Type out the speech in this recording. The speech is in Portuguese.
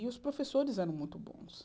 E os professores eram muito bons.